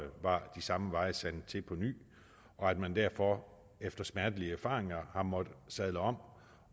var de samme veje sandet til på ny og at man derfor efter smertelige erfaringer har måttet sadle om